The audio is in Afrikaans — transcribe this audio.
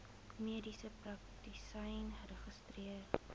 mediese praktisyn geregistreer